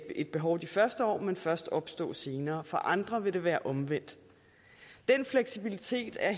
et behov de første år men først opstå senere for andre vil det være omvendt den fleksibilitet er